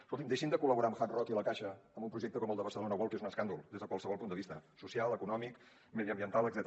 escoltin deixin de col·laborar amb hard rock i la caixa en un projecte com el de barcelona world que és un escàndol des de qualsevol punt de vista social econòmic mediambiental etcètera